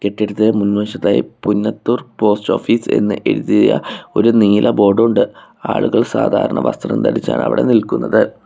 കെട്ടിടത്തിനു മുൻവശത്തായി Punnathur post office എന്ന് എഴുതിയ ഒരു നീല ബോർഡ് ഉണ്ട് ആളുകൾ സാധാരണ വസ്ത്രം ധരിച്ചാണ് അവിടെ നിൽക്കുന്നത്.